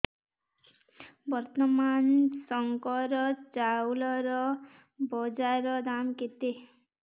ବର୍ତ୍ତମାନ ଶଙ୍କର ଚାଉଳର ବଜାର ଦାମ୍ କେତେ